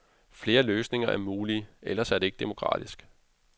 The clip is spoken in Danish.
Flere løsninger er mulige, ellers er det ikke demokratisk.